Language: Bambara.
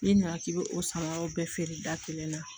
N'i nana k'i bɛ o samaraw bɛɛ feere da kelen na